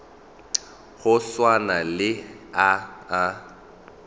go swana le a a